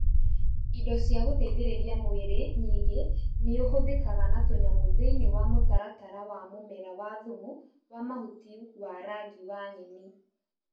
indo cia gũteithĩrĩria mwĩrĩ nyingĩ nĩũhũthĩkaga na tũnyamũ thĩiniĩ wa mũtaratara wa mũmera wa thumu wa mahuti wa rangi wa nyeni